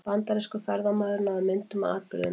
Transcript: Bandarískur ferðamaður náði myndum af atburðinum